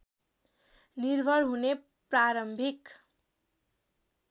निर्भर हुने प्रारम्भिक